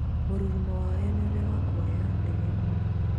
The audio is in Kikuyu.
mũrurumo wayo nĩurarĩ na guoya nano ndege nini